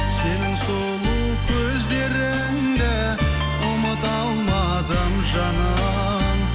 сенің сұлу көздеріңді ұмыта алмадым жаным